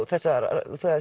þessa